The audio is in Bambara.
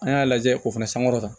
An y'a lajɛ o fana sankɔrɔta